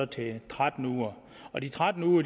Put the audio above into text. til tretten uger og de tretten uger